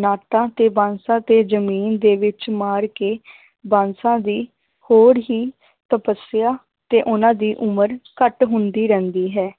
ਨਾਟਾਂ ਤੇ ਬਾਂਸਾਂ ਤੇ ਜ਼ਮੀਨ ਦੇ ਵਿੱਚ ਮਾਰ ਕੇ ਬਾਂਸਾਂ ਦੀ ਹੋਰ ਹੀ ਤਪਸਿਆ ਤੇ ਉਹਨਾਂ ਦੀ ਉਮਰ ਘੱਟ ਹੁੰਦੀ ਰਹਿੰਦੀ ਹੈ